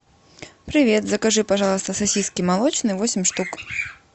привет закажи пожалуйста сосиски молочные восемь штук